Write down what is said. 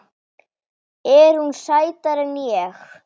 Er hún sætari en ég?